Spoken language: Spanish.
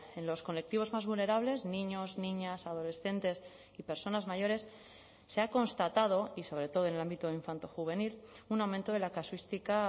en los colectivos más vulnerables niños niñas adolescentes y personas mayores se ha constatado y sobre todo en el ámbito infanto juvenil un aumento de la casuística